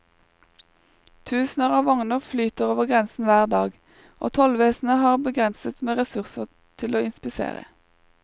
Tusener av vogner flyter over grensen hver dag, og tollvesenet har begrenset med ressurser til å inspisere.